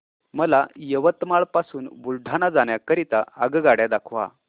मला यवतमाळ पासून बुलढाणा जाण्या करीता आगगाड्या दाखवा